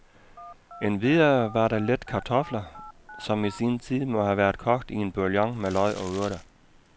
Endvidere var der lidt kartofler, som i sin tid må have været kogt i en boullion med løg og urter.